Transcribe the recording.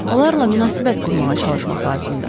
Onlarla münasibət qurmağa çalışmaq lazımdır.